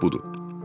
Bax budur.